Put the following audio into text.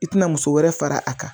I tɛna muso wɛrɛ fara a kan